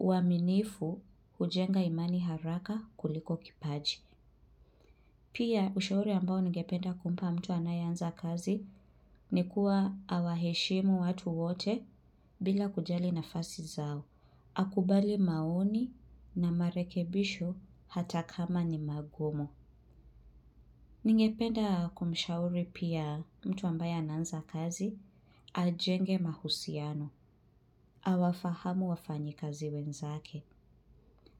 uaminifu hujenga imani haraka kuliko kipaji. Pia ushauri ambao ningependa kumpa mtu anayeanza kazi ni kuwa awaheshimu watu wote bila kujali nafasi zao. Akubali maoni na marekebisho hata kama ni magumu. Ningependa kumshauri pia mtu ambaye anaanza kazi, ajenge mahusiano, awafahamu wafanyi kazi wenzake.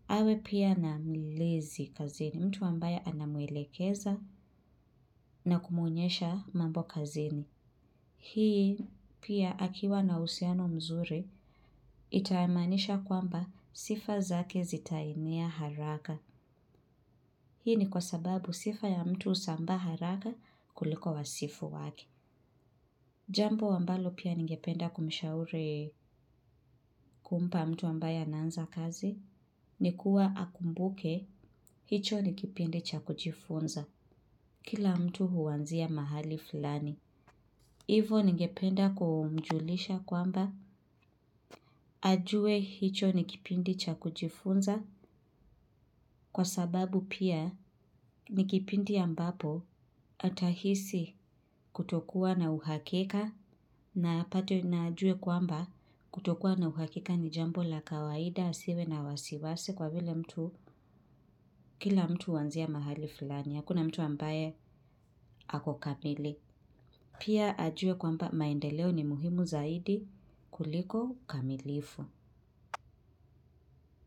Awe pia na mlezi kazini mtu ambaye anamwelekeza na kumwonyesha mambo kazini. Hii pia akiwa na uhusiano mzuri, itaamanisha kwamba sifa zake zitaenea haraka. Hii ni kwa sababu sifa ya mtu husambaa haraka kuliko wasifu wake. Jambo ambalo pia ningependa kumshauri kumpa mtu ambaye anaanza kazi ni kuwa akumbuke hicho ni kipindi cha kujifunza kila mtu huanzia mahali fulani. Hivo ningependa kumjulisha kwamba ajue hicho ni kipindi cha kujifunza kwa sababu pia ni kipindi ambapo atahisi kutokuwa na uhakika na apate na ajue kwamba kutokuwa na uhakika ni jambo la kawaida asiwe na wasiwasi kwa vile mtu kila mtu huanzia mahali fulani hakuna mtu ambaye ako kamili. Pia ajue kwamba maendeleo ni muhimu zaidi kuliko ukamilifu.